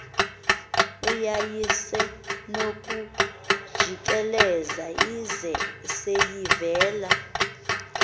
yayisenokujikelza ize seyivela